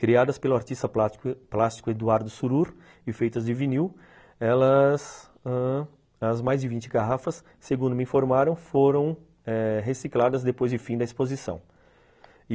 Criadas pelo artista plástico plástico Eduardo Surur e feitas de vinil, elas ãh, as mais de vinte garrafas, segundo me informaram, foram eh recicladas depois de fim da exposição.